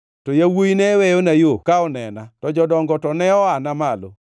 to yawuowi ne weyona yo ka onena to jodongo to ne oana malo.